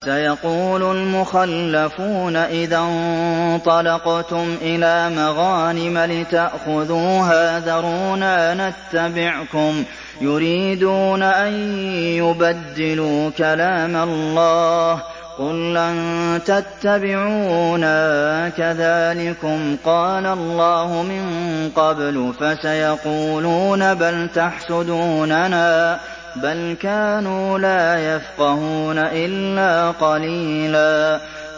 سَيَقُولُ الْمُخَلَّفُونَ إِذَا انطَلَقْتُمْ إِلَىٰ مَغَانِمَ لِتَأْخُذُوهَا ذَرُونَا نَتَّبِعْكُمْ ۖ يُرِيدُونَ أَن يُبَدِّلُوا كَلَامَ اللَّهِ ۚ قُل لَّن تَتَّبِعُونَا كَذَٰلِكُمْ قَالَ اللَّهُ مِن قَبْلُ ۖ فَسَيَقُولُونَ بَلْ تَحْسُدُونَنَا ۚ بَلْ كَانُوا لَا يَفْقَهُونَ إِلَّا قَلِيلًا